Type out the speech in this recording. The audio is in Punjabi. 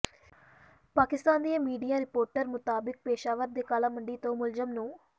ਪਾਕਿਸਤਾਨ ਦੀਆਂ ਮੀਡੀਆ ਰਿਪੋਰਟਾਂ ਮੁਤਾਬਕ ਪੇਸ਼ਾਵਰ ਦੇ ਘਾਲਾ ਮੰਡੀ ਤੋਂ ਮੁਲਜ਼ਮ ਨੂੰ